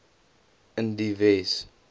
in die wes